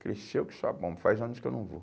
Cresceu que só bomba, faz anos que eu não vou.